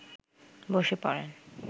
বসে পড়েন